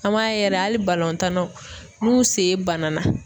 An b'a ye yɛrɛ hali tannaw n'u sen banana